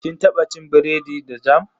Kin taba cin biredi da jam?